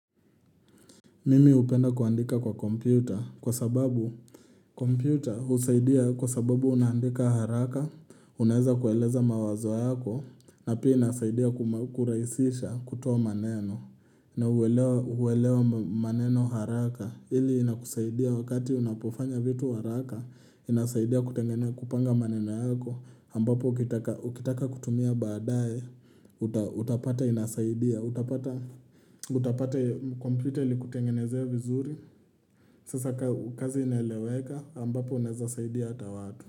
Mimi hupenda kuandika kwa kompyuta kwa sababu kompyuta husaidia kwa sababu unaandika haraka, unaweza kueleza mawazo yako na pia inasaidia kurahisisha kutoa maneno na huelewa maneno haraka. Ili inakusaidia wakati unapofanya vitu haraka, inasaidia kupanga maneno yako. Ambapo ukitaka kutumia badae utapata inasaidia utapata kompyuta ilikutengenezea vizuri sasa kazi inaeleweka ambapo unaweza saidia hata watu.